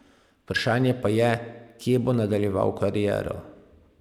Vprašanje pa je, kje bo nadaljeval kariero.